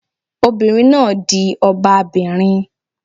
Obìnrin náà di ọba bìnrin